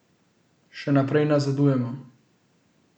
Še naprej nazadujemo.